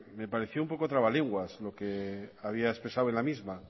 me pareció un poco trabalenguas lo que había expresado en la misma